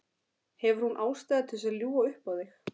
Hefur hún ástæðu til að ljúga upp á þig?